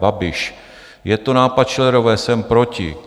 Babiš: Je to nápad Schillerové, jsem proti.